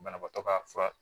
Banabaatɔ ka fura